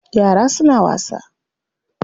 Yara suna wasa.